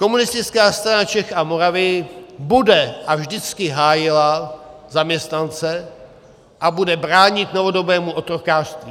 Komunistická strana Čech a Moravy bude a vždycky hájila zaměstnance a bude bránit novodobému otrokářství.